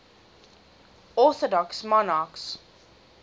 orthodox monarchs